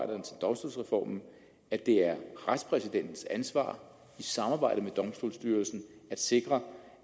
domstolsreformen at det er retspræsidentens ansvar i samarbejde med domstolsstyrelsen at sikre